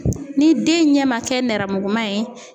Ni den ɲɛ ma kɛ nɛrɛmuguman ye